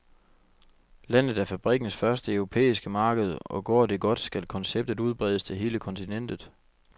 Landet er fabrikkens første europæiske marked, og går det godt, skal konceptet udbredes til hele kontinentet.